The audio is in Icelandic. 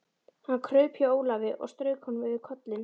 Hann kraup hjá Ólafi og strauk honum yfir kollinn.